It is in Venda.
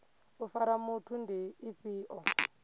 u fara muthu ndi ifhio